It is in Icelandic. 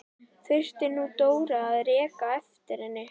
Þurfti nú Dóra að reka á eftir henni!